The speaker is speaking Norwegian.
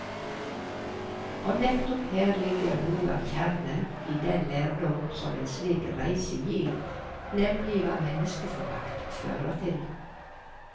Og nettopp her ligger noe av kjernen i den lærdom som en slik reise gir, nemlig hva menneskeforakt fører til.